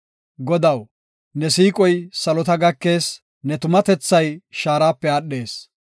Godaw, ne siiqoy salota gakees; ne tumatethay shaarape aadhees.